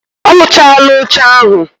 Oluchala oche ahu